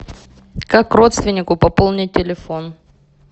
как родственнику пополнить телефон